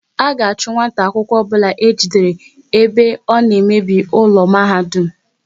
A ga-achu nwata akwụkwọ obula ejidere ebe ọ na emebi ụlọ mahadum!